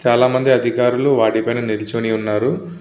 చాల మంది అధికార్లు వాటి మిద నిలుచొని వున్నారు.